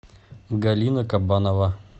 галина кабанова